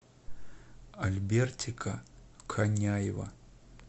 альбертика коняева